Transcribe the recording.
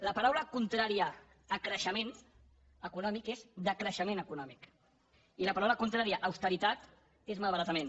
la paraula contrària a creixement econòmic és decreixement econòmic i la paraula contrària a austeritat és malbaratament